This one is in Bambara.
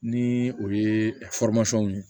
Ni o ye ye